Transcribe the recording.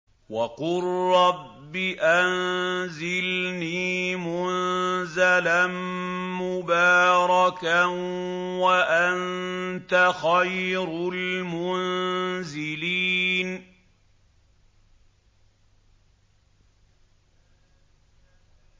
وَقُل رَّبِّ أَنزِلْنِي مُنزَلًا مُّبَارَكًا وَأَنتَ خَيْرُ الْمُنزِلِينَ